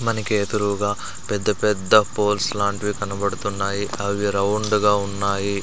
మనకి ఎదురూగా పెద్ద పెద్ద పోల్స్ లాంటివి కనబడుతున్నాయి అవి రౌండుగా ఉన్నాయి.